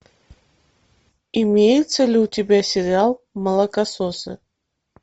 имеется ли у тебя сериал молокососы